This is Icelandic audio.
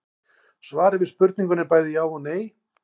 Svarið við spurningunni er bæði já og nei.